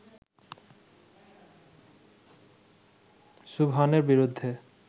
সুবহানের বিরুদ্ধে